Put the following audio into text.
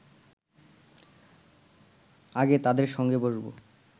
আগে তাদের সঙ্গে বসব